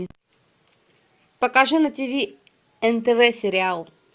покажи на тиви нтв сериал